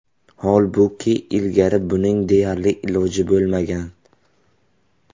Holbuki ilgari buning deyarli iloji bo‘lmagan.